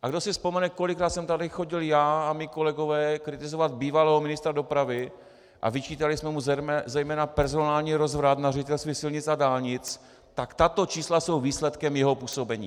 A kdo si vzpomene, kolikrát jsem tady chodil já a mí kolegové kritizovat bývalého ministra dopravy a vyčítali jsme mu zejména personální rozvrat na Ředitelství silnic a dálnic, tak tato čísla jsou výsledkem jeho působení.